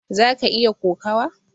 zaka iya kokawa?